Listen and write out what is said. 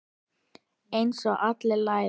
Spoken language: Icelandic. Einsog allir læðist.